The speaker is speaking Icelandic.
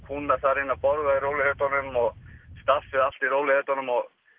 kúnnar að borða í rólegheitunum og staffið allt í rólegheitunum